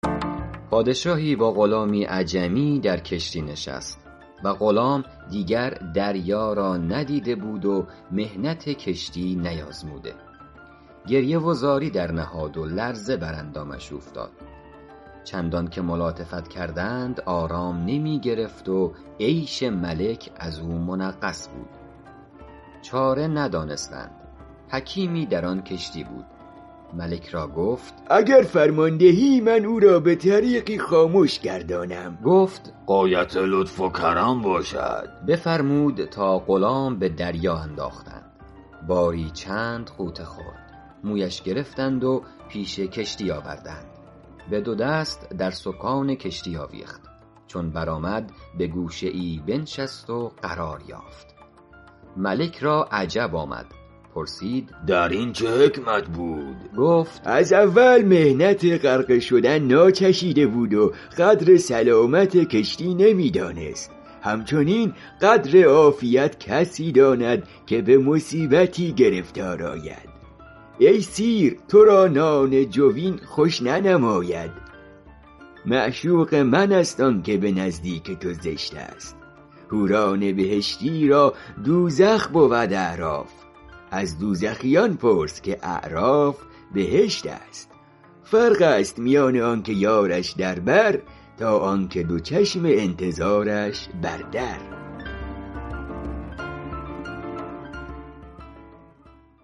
پادشاهی با غلامی عجمی در کشتی نشست و غلام دیگر دریا را ندیده بود و محنت کشتی نیازموده گریه و زاری درنهاد و لرزه بر اندامش اوفتاد چندان که ملاطفت کردند آرام نمی گرفت و عیش ملک از او منغص بود چاره ندانستند حکیمی در آن کشتی بود ملک را گفت اگر فرمان دهی من او را به طریقی خامش گردانم گفت غایت لطف و کرم باشد بفرمود تا غلام به دریا انداختند باری چند غوطه خورد مویش گرفتند و پیش کشتی آوردند به دو دست در سکان کشتی آویخت چون برآمد به گوشه ای بنشست و قرار یافت ملک را عجب آمد پرسید در این چه حکمت بود گفت از اول محنت غرقه شدن ناچشیده بود و قدر سلامت کشتی نمی دانست همچنین قدر عافیت کسی داند که به مصیبتی گرفتار آید ای سیر تو را نان جوین خوش ننماید معشوق من است آن که به نزدیک تو زشت است حوران بهشتی را دوزخ بود اعراف از دوزخیان پرس که اعراف بهشت است فرق است میان آن که یارش در بر تا آن که دو چشم انتظارش بر در